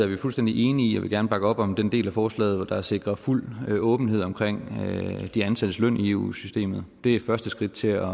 vi fuldstændig enige i og vil gerne bakke op om den del af forslaget der sikrer fuld åbenhed omkring de ansattes løn i eu systemet det er et første skridt til at